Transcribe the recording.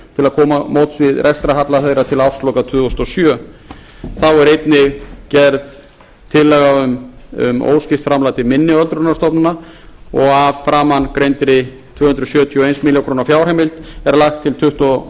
til móts við rekstrarhalla þeirra til ársloka tvö þúsund og sjö þá er einnig gerð tillaga um óskipt framlag til minni öldrunarstofnana og að framangreindri tvö hundruð sjötíu og eina milljón króna fjárheimild er lagt til